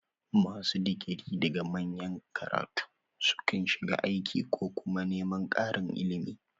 Masu digiri daga manyan makarantu sukan shiga aiki ko kuma neman ƙarin ilimi.